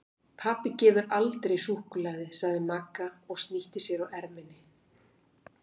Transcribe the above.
Pabbi gefur aldrei súkkulaði sagði Magga og snýtti sér á erminni.